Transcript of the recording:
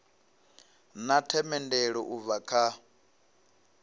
na themendelo u bva kha